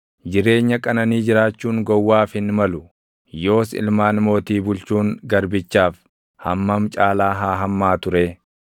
Jireenya qananii jiraachuun gowwaaf hin malu; yoos ilmaan mootii bulchuun garbichaaf // hammam caalaa haa hammaatu ree?